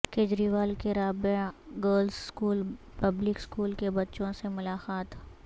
کیجریوال کی Rabia girls school public school کے بچوں سے ملاقات